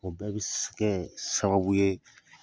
O bɛɛ bɛ s kɛ sababu ye